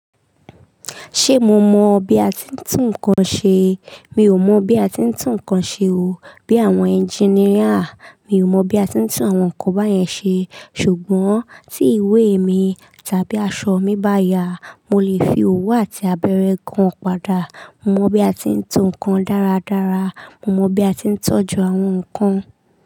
Ṣé mo mọ bi a ti ń tún nǹkan ṣe? Mi ò mọ bi a ti ń tún nǹkan ṣe o. Bí àwọn ẹnjiníà, mi ò mọ bi a ti ń tún àwọn nǹkan báyẹn ṣe. Ṣùgbọ́n tí ìwé mi tàbí aṣọ mi bá ya, mo lè fi owu àti abẹrẹ gan pada. Mo mọ bi a ti ń tún nǹkan dáradára. Mo mọ bi a ti ń tọ́jú àwọn nǹkan.